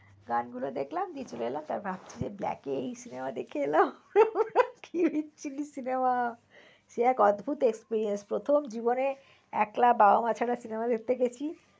গান গুলো দেখলাম বিকেল বেলা রাত্রে black এ এই cinema দেখে এলাম cinema সে এক অদ্ভুত experience । প্রথম জীবনে একলা বাবা মা ছাড়া cinema দেখতে গেছি।